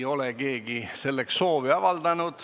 Keegi selleks soovi ei avalda.